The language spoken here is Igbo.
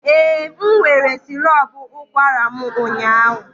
Ee, m were sirop ụkwara m ụnyaahụ.